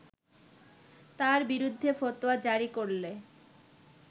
তার বিরুদ্ধে ফতোয়া জারি করলে